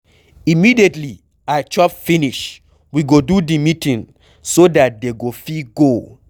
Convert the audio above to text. Immediately I chop finish we go do the meeting so dat they go fit go.